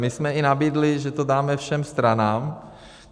My jsme i nabídli, že to dáme všem stranám.